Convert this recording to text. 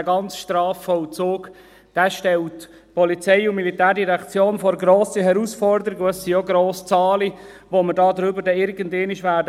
Dieser ganze Strafvollzug stellt die POM vor grosse Herausforderungen, und es sind auch grosse Zahlen, über die wir hier irgendwann befinden werden.